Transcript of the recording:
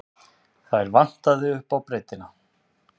Þær vantaði upp á breiddina.